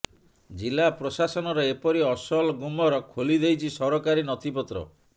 ଜିଲ୍ଲାପ୍ରଶାସନର ଏପରି ଅସଲ ଗୁମର ଖୋଲି ଦେଇଛି ସରକାରୀ ନଥିପତ୍ର